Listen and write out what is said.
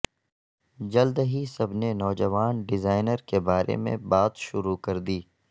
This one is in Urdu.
جلد ہی سب نے نوجوان ڈیزائنر کے بارے میں بات شروع کردی